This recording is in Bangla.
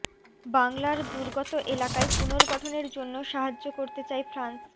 বাংলার দুর্গত এলাকায় পুনর্গঠনের জন্য সাহায্য করতে চায় ফ্রান্স